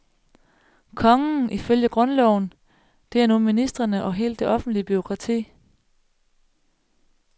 Kongen, ifølge grundloven, det er nu ministrene og hele det offentlige bureaukrati.